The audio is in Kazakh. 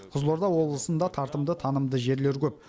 қызылорда облысында тартымды танымды жерлер көп